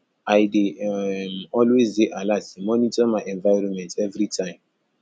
i dey um always dey alert dey monitor my environment everytime